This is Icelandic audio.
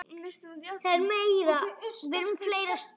Ég hika.